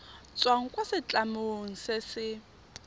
tswang kwa setlamong se se